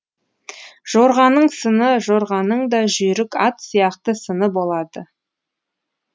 жорғаның сыны жорғаның да жүйрік ат сияқты сыны болады